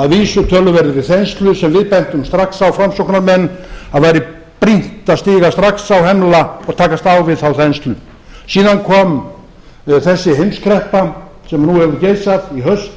að vísu töluverðri þenslu sem við bentum strax á framsóknarmenn að væri brýnt að stíga strax á hemla og takast á við þá þenslu síðan kom þessi heimskreppa sem nú hefur geisað í haust